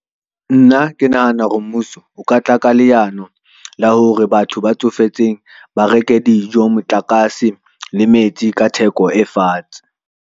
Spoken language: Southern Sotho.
Nna ke nahana hore mmuso o ka tla ka leano la hore batho ba tsofetseng ba reke dijo, motlakase le metsi ka theko e fatshe.